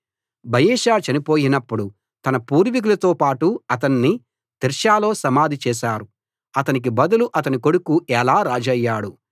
బయెషా చనిపోయినప్పుడు తన పూర్వీకులతోపాటు అతన్ని తిర్సాలో సమాధి చేశారు అతనికి బదులు అతని కొడుకు ఏలా రాజయ్యాడు